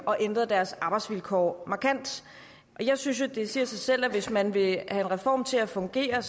og ændrede deres arbejdsvilkår markant jeg synes jo det siger sig selv at hvis man vil have en reform til at fungere